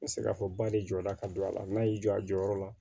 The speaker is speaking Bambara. N bɛ se k'a fɔ ba de jɔ la ka don a la n'a y'i jɔ a jɔyɔrɔ la